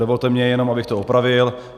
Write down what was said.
Dovolte mi jenom, abych to opravil.